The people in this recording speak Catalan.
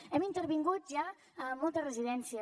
hem intervingut ja moltes residències